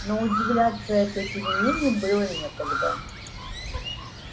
но удивляться этой перемене было некогда